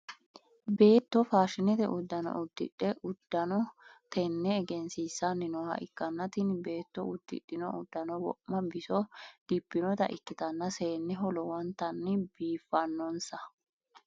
Beetto faashinete udano udidhe udanno tenne egensiisanni nooha ikanna tinni beetto udidhino udano wo'ma biso dibinota ikitanna seeneho lowontanni biifanonsa.